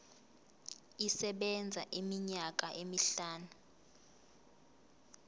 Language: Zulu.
isebenza iminyaka emihlanu